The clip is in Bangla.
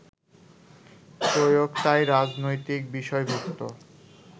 প্রয়োগ তাই রাজনৈতিক বিষয়ভুক্ত